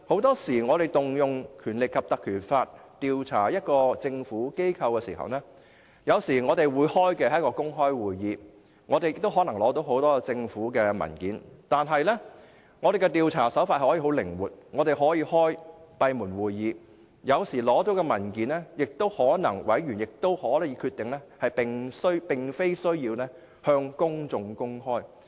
在引用《條例》調查政府機構時，專責委員會會舉行公開會議，委員可能會取得很多政府文件，但調查手法可以十分靈活，可以舉行閉門會議，而對於獲取的文件，委員也可以決定無需向公眾公開。